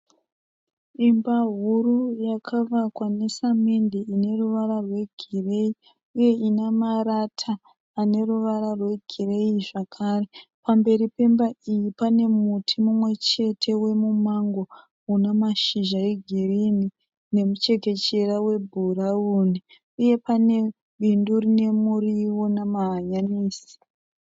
Imba huru yakavakwa nesamende ineruvara rwe gireyi, uye inemarata aneruvara rwe gireyi zvakare. Pamberi pemba iyi panemuti umwe chete wemumango unemashizha egirini nemuchekechera we bhirawuni. Uye pane pindu rinemuriwo nema hanyanisi.